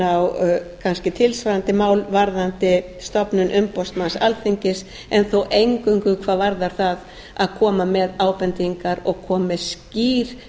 á kannski tilsvarandi mál varðandi stofnun umboðsmanns alþingis en þó eingöngu hvað varðar það að koma með ábendingar og koma með skýr